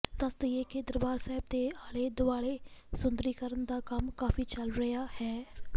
ਦਸ ਦਈਏ ਕਿ ਦਰਬਾਰ ਸਾਹਿਬ ਦੇ ਆਲੇ ਦੁਆਲੇ ਸੁੰਦਰੀਕਰਨ ਦਾ ਕੰਮ ਕਾਫ਼ੀ ਚੱਲ ਰਿਹਾ ਹੈ